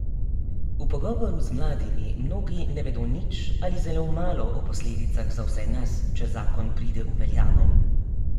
V pogovoru z mladimi mnogi ne vedo nič ali zelo malo o posledicah za vse nas, če zakon pride v veljavo.